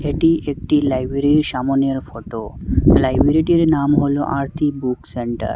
এটি একটি লাইব্রেরীর সামোনের ফটো লাইব্রেরীটির নাম হল আরতি বুক সেন্টার ।